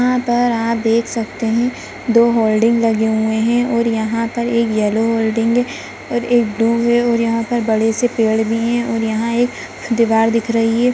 यहाँ पर आप देख सकते हैं दो होल्डिंग लगे हुए हैं और यहाँ पर एक येलो होल्डिंग हैं और एक ब्लू हैं और यहाँ पर बड़े से पेड़ भी हैं और यहाँ एक दीवार दिख रही हैं।